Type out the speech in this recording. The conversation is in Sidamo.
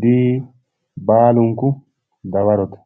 D, baalunku dawarote,